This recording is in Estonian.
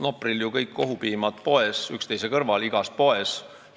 Nopril kõik kohupiimad üksteise kõrval igas poes.